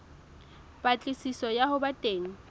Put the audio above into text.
patlisiso ya ho ba teng